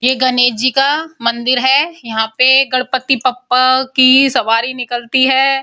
ये गणेश जी का मंदिर है। यहाँ पर गणपति बप्पा की सवारी निकलती है।